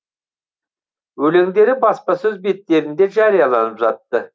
өлеңдері баспасөз беттерінде жарияланып жатты